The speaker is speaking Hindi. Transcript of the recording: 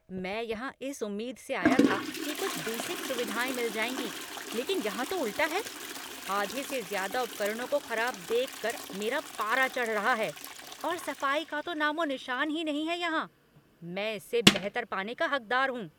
"मैं यहाँ इस उम्मीद से आया था कि कुछ बेसिक सुविधाएँ मिल जाएँगी लेकिन यहाँ तो उल्टा है। आधे से ज़्यादा उपकरणों को खराब देख कर मेरा पारा चढ़ रहा है। और सफ़ाई का तो नामो निशान ही नहीं है यहाँ। मैं इससे बेहतर पाने का हक़दार हूँ।